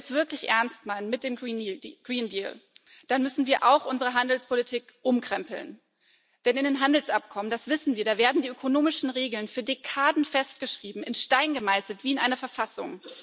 Wenn wir es mit dem Green Deal wirklich ernst meinen, dann müssen wir auch unsere Handelspolitik umkrempeln. Denn in den Handelsabkommen das wissen wir werden die ökonomischen Regeln für Dekaden festgeschrieben, in Stein gemeißelt, wie in einer Verfassung.